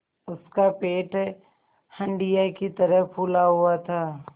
उसका पेट हंडिया की तरह फूला हुआ था